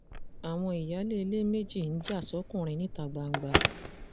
àwọn ìyáálé ilé méjì ń já sókunrin níta gbangba